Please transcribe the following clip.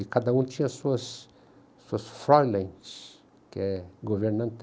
E cada um tinha as suas, que é governanta